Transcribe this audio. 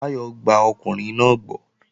Báyọ̀ gba ọkùnrin náà gbọ́